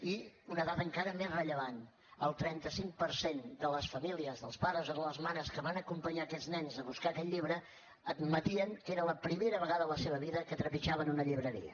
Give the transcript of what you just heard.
i una dada encara més rellevant el trenta cinc per cent de les famílies dels pares o de les mares que van acompanyar aquests nens a buscar aquell llibre admetien que era la primera vegada a la seva vida que trepitjaven una llibreria